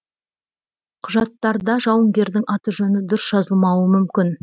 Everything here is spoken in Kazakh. құжаттарда жауынгердің аты жөні дұрыс жазылмауы мүмкін